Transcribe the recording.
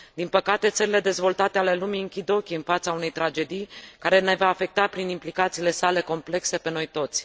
Din păcate, țările dezvoltate ale lumii închid ochii în fața unei tragedii care ne va afecta prin implicațiile sale complexe pe noi toți.